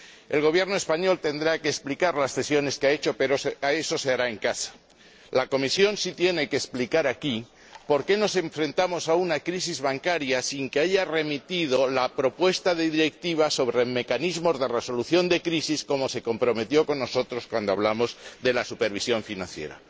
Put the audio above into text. El Gobierno español tendrá que explicar las cesiones que ha hecho, pero eso se hará en casa. La Comisión sí tiene que explicar aquí por qué nos enfrentamos a una crisis bancaria sin que haya remitido la propuesta de Directiva sobre mecanismos de resolución de crisis, como se comprometió a hacer cuando hablamos de la supervisión financiera.